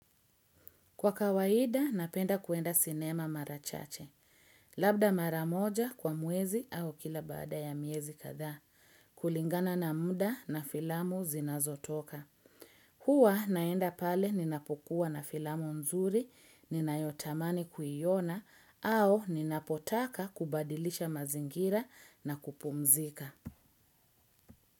Kwa kawaida, napenda kwenda sinema mara chache. Labda mara moja kwa mwezi au kila baada ya miezi kadhaa kulingana na muda na filamu zinazotoka. Huwa naenda pale ninapokuwa na filamu nzuri, ninayotamani kuiona, au ninapotaka kubadilisha mazingira na kupumzika.